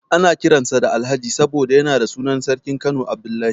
Ana kiran sa Alhaji saboda yana da sunan sarkin Kano Abdullahi.